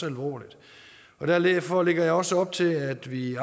alvorligt og derfor lægger jeg også op til at vi